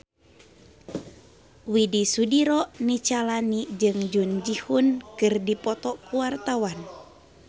Widy Soediro Nichlany jeung Jun Ji Hyun keur dipoto ku wartawan